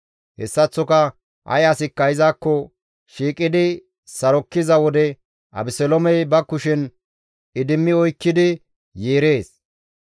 Hessaththoka ay asikka izakko shiiqidi sarokkiza wode Abeseloomey ba kushen idimmi oykkidi yeerees.